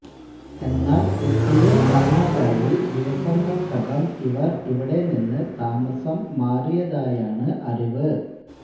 എന്നാല് കുട്ടിയെ കാണാതായി ദിവസങ്ങള്ക്കകം ഇവര് ഇവിടെ നിന്ന് താമസം മാറിയതായാണ് അറിവ്